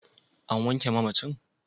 An wanke mamacin?